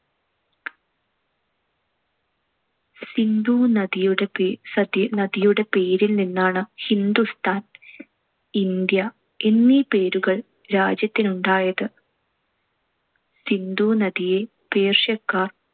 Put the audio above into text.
സിന്ധു നദിയുടെ പേ~ സതി~ നദിയുടെ പേരിൽ നിന്നാണ് ഹിന്ദുസ്ഥാൻ, ഇന്ത്യ എന്നീ പേരുകൾ രാജ്യത്തിനുണ്ടായത്. സിന്ധു നദിയെ പേർഷ്യക്കാർ